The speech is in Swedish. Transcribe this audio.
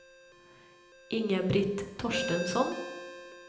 Inga-Britt Torstensson